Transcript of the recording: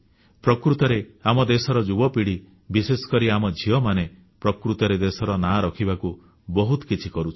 ପ୍ରକୃତରେ ଆମ ଦେଶର ଯୁବପିଢ଼ି ବିଶେଷକରି ଆମ ଝିଅମାନେ ପ୍ରକୃତରେ ଦେଶର ନାଁ ରଖିବାକୁ ବହୁତ କିଛି କରୁଛନ୍ତି